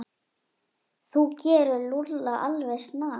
Þú gerir Lúlla alveg snar,